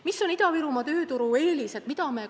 Mis on Ida-Virumaa tööturu eelised?